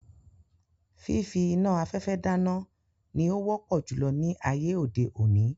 Fífí iná afẹfẹ dáná ní o wọpọ julọ ní ayé òde òni